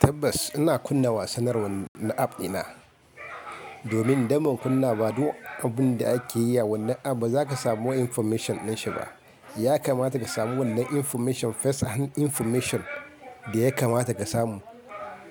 Tabbas ina kunna wasanni na app dina. Domin idan ban kunna ba duk abunda ake yi a wannan app baza ka samu information dinshi ba. Yakamata ka samu wannan information, first information da yakamata ka samu.